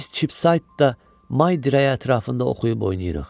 Biz Çipsaytdan may dirəyi ətrafında oxuyub oynayırıq.